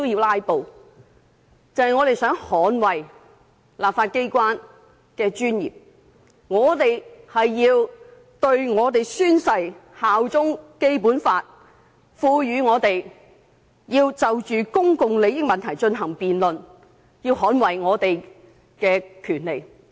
我們既宣誓效忠《基本法》，便要捍衞《基本法》賦予我們就公共利益問題進行辯論的權力。